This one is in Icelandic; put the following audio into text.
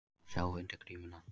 Að sjá undir grímuna